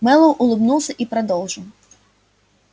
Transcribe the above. мэллоу улыбнулся и продолжил